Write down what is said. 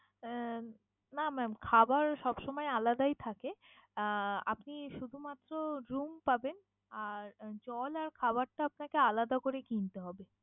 উম না mam খাবার সবসময় আলাদাই থাকে। আহ আপনি শুধুমাত্র room পাবেন আর জল আর খাবারটা আপনাকে আলাদা করে কিনতে হবে।